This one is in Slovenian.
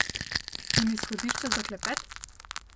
In izhodišča za klepet?